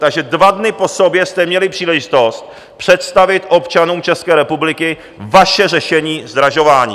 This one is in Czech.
Takže dva dny po sobě jste měli příležitost představit občanům České republiky vaše řešení zdražování.